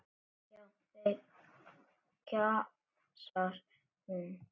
Já, þeir, kjamsar hún.